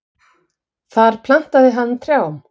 Þar plantaði hann trjám.